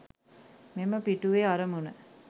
මෙම පිටුවේ අරමුණ